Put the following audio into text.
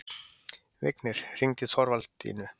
Vignir, hringdu í Þorvaldínu.